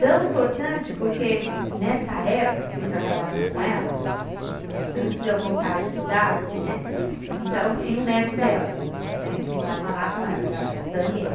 Tão importante porque nessa época que eu trabalhava com ela, antes de eu voltar a estudar, né, então tinha um neto dela, né, que morava lá com ela, o Ga, o Daniel.